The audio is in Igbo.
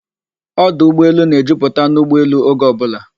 Ọdọ ụgbọelu na-ejuputa n'ụgbọelu oge ọbụla